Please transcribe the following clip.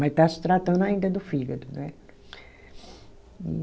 Mas está se tratando ainda do fígado, né?